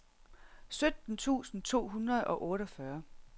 sytten tusind to hundrede og otteogfyrre